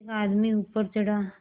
एक आदमी ऊपर चढ़ा